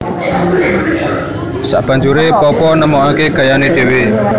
Sabanjuré Popo nemokaké gayané dhéwé